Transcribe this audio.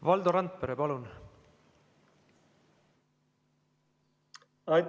Valdo Randpere, palun!